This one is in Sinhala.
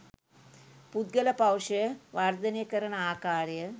පුද්ගල පෞරුෂය වර්ධනය කරන ආකාරය